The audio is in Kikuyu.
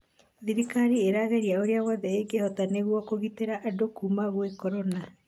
thirikari ĩrageria ũrĩa wothe ĩngĩhota nĩguo kũgitĩra andũ kuuma gwĩ korona